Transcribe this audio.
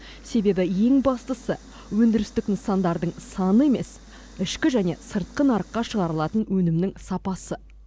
себебі ең бастысы өндірістік нысандардың саны емес ішкі және сыртқы нарыққа шығарылатын өнімнің сапасы